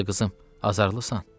Yoxsa qızım, azarlısan?